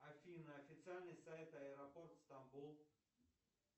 афина официальный сайт аэропорт стамбул